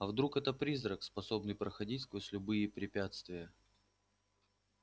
а вдруг это призрак способный проходить сквозь любые препятствия